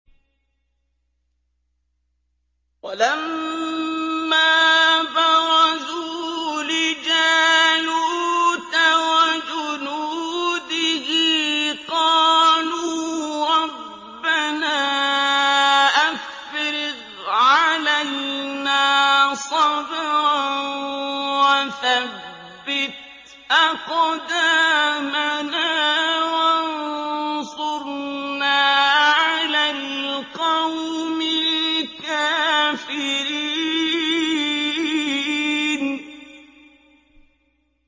وَلَمَّا بَرَزُوا لِجَالُوتَ وَجُنُودِهِ قَالُوا رَبَّنَا أَفْرِغْ عَلَيْنَا صَبْرًا وَثَبِّتْ أَقْدَامَنَا وَانصُرْنَا عَلَى الْقَوْمِ الْكَافِرِينَ